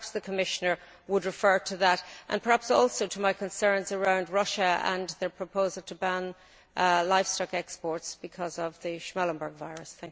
So perhaps the Commissioner would refer to that and perhaps also to concerns around Russia and their proposal to ban livestock exports because of the Schmallenberg virus?